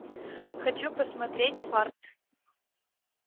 хочу посмотреть фарт